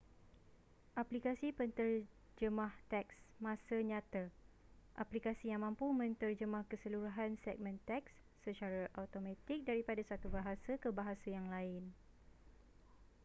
aplikasi penterjemah teks masa nyata aplikasi yang mampu menterjemah keseluruhan segmen teks secara automatik daripada satu bahasa ke bahasa yang lain